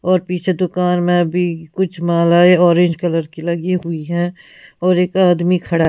और पीछे दुकान में भी कुछ मालाएं ऑरेंज कलर की लगी हुई है और एक आदमी खड़ा है--